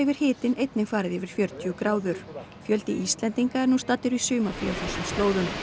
hitinn einnig farið yfir fjörutíu gráður fjöldi Íslendinga er nú staddur í sumarfríi á þessum slóðum